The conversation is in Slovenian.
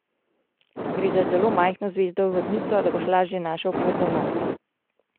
Gre za zelo majhno zvezdo vodnico, da boš lažje našel pot domov.